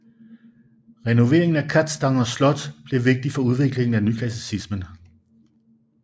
Renoveringen af Kazdanga Slot blev vigtig for udviklingen af nyklassicismen